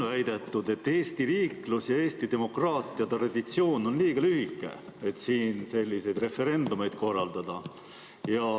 On väidetud, et Eesti riiklus ja Eesti demokraatiatraditsioon on liiga lühike, et selliseid referendumeid korraldada.